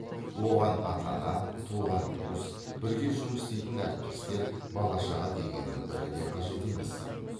оған ата ана туған туыс бірге жұмыс істейтін әріптестер бала шаға дегеннің бірі де қажет емес